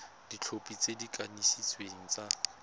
dikhopi tse di kanisitsweng tsa